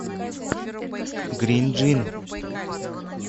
грин джин